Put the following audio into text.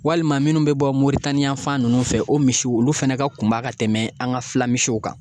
Walima minnu bɛ bɔ Moritani yan fan ninnu fɛ o misiw olu fɛnɛ ka kunba ka tɛmɛ an ka fila misiw kan